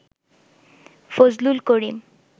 Fazlul Karim